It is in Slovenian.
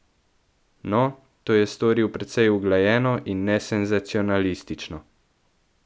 No, to je storil precej uglajeno in nesenzacionalistično.